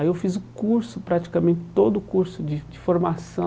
Aí eu fiz o curso, praticamente todo o curso de de formação